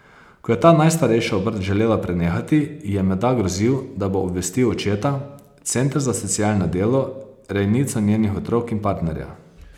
Ko je ta najstarejšo obrt želela prenehati, ji je menda grozil, da bo obvestil očeta, center za socialno delo, rejnico njenih otrok in partnerja.